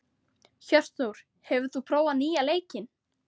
Hjörtþór, hefur þú prófað nýja leikinn?